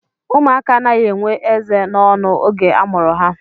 Ụmụaka anaghị enwe eze n'ọnụ oge a mụrụ ha